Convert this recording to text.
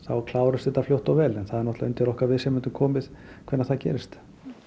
klárist þetta fljótt og vel en það er náttúrulega undir okkar viðsemjendum komið hvenær það gerist